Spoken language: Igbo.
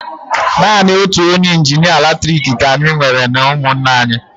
Naanị otu onye injinịa latriki ka anyị nwere n'ụmụnna anyị.